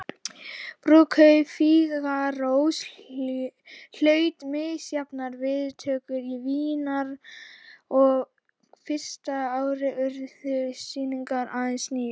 Brúðkaup Fígarós hlaut misjafnar viðtökur í Vínarborg og fyrsta árið urðu sýningar aðeins níu.